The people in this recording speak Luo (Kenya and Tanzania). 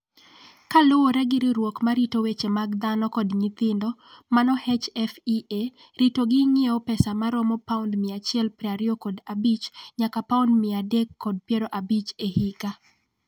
Kaluwore gi riwruok ma rito weche mag dhano kod nyithindo (HFEA), ritogi ng’iewo pesa ma romo £125 nyaka £350 e higa.